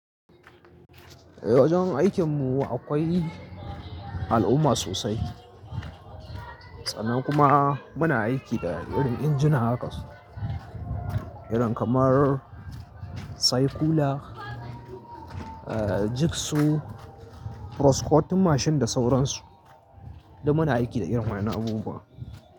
Eh, wajen aikin mu akwai al'umma sosai. Sannan kuma muna aiki da irin injuna haka irin kamar cycler, jigsu, proscotin mashin da sauransu. Duk muna aiki da irin waƴannnan abubuwan.